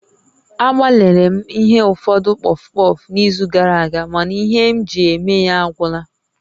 Agbalịrị m ighe ụfọdụ pọfpọf n'izu gara aga mana ihe m ji eme ya agwụla